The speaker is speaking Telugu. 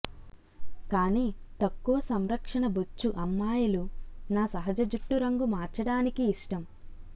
కానీ తక్కువ సంరక్షణ బొచ్చు అమ్మాయిలు నా సహజ జుట్టు రంగు మార్చడానికి ఇష్టం